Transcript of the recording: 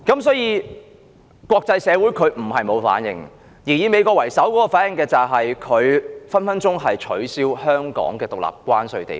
所以，國際社會不是沒有反應，而美國為首的反應是很可能透過《美國—香港政策法》，取消香港獨立的關稅地位。